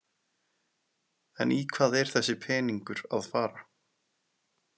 En í hvað er þessi peningur að fara?